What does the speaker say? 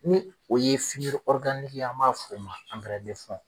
o ye ye an m'a fɔ o ma